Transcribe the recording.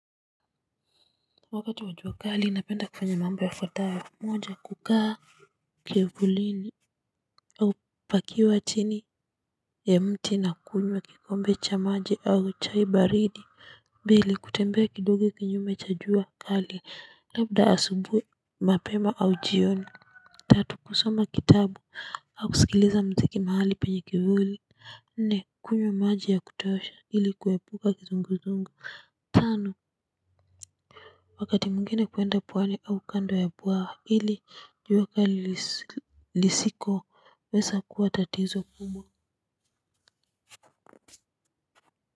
Wakati wa jua kali napenda kufanya mambo yafuatayo moja kukaa kivulini au pakiwa chini ya mti na kunywa kikombe cha maji au chai baridi mbili kutembea kidogo kinyume cha jua kali labda asubuhi mapema au jioni tatu kusoma kitabu au kusikiliza mziki mahali penye kivuli nne kunywa maji ya kutosha ili kuepuka kizunguzungu. Tano, wakati mwingine kuenda pwani au kando ya bwawa ili jua kali lisikoweza kuwa tatizo kubwa.